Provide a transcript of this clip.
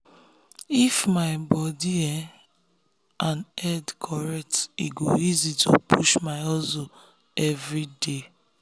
if my um body and head correct e go easy to push my hustle every day.